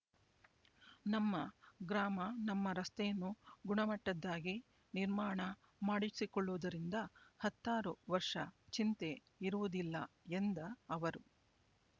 ನಮ್ಮ ಗ್ರಾಮ ನಮ್ಮ ರಸ್ತೆಯನ್ನು ಗುಣಮಟ್ಟದ್ದಾಗಿ ನಿರ್ಮಾಣ ಮಾಡಿಸಿಕೊಳ್ಳುವುದರಿಂದ ಹತ್ತಾರು ವರ್ಷ ಚಿಂತೆ ಇರುವುದಿಲ್ಲ ಎಂದ ಅವರು